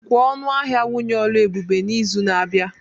Kwuo ọnụ ahịa nwunye Oluebube n'izu na-abịa